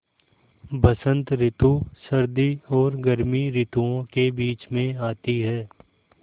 बसंत रितु सर्दी और गर्मी रितुवो के बीच मे आती हैँ